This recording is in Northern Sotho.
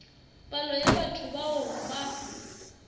palo ya batho bao ba